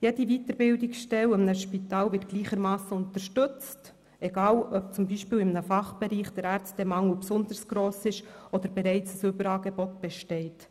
Jede Weiterbildungsstelle an einem Spital wird gleichermassen unterstützt, egal ob zum Beispiel in einem Fachbereich der Ärztemangel besonders gross ist oder bereits ein Überangebot besteht.